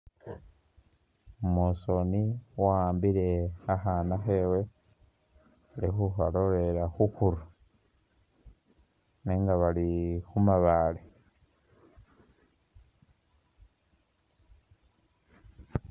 Mosoni wakhambile khakhana khewe ili khukalolelela khukhuru nenga bali khumabale